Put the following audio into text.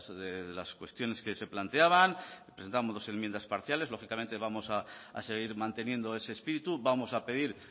de las cuestiones que se planteaban presentamos enmiendas parciales lógicamente vamos a seguir manteniendo ese espíritu vamos a pedir